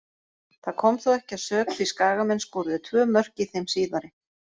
Það kom þó ekki að sök því Skagamenn skoruðu tvö mörk í þeim síðari.